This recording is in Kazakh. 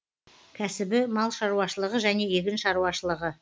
кәсібі мал шаруашылығы және егін шаруашылығы